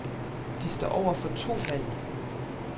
De står over for to valg.